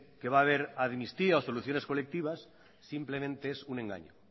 que va a haber amnistía o soluciones colectivas simplemente es un engaño